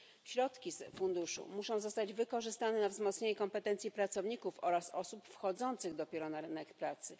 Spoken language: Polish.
Środki z funduszu muszą zostać wykorzystane na wzmocnienie kompetencji pracowników oraz osób wchodzących dopiero na rynek pracy.